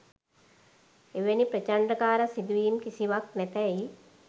එවැනි ප්‍රචණ්ඩකාර සිදුවීම් කිසිවක් නැතැයි